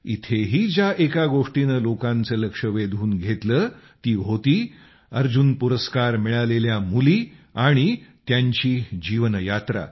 इथेही ज्या एका गोष्टीने लोकांचे लक्ष वेधून घेतले ती होती अर्जुन पुरस्कार मिळालेल्या मुली आणि त्यांची जीवनयात्रा